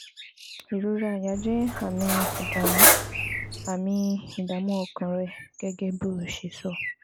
Ìrora àyà jẹ́ àmì ìdààmú àmì ìdààmú ọkàn rẹ, gẹ́gẹ́ bó o ṣe sọ